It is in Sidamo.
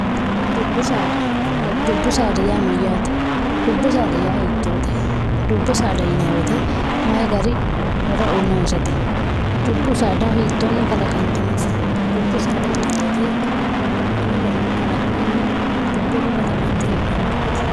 dubbu saada dubbu saada yaa mayyaate dubbu saada yaa hiittoote dubbu saada yinyaweete mayi gari horo inoosete dubbu saada hiittoonni kalaqantinote dubbu saada yinweete babbaxitino garinni kalaqamunni dubbooho kalaqante heedhannureeti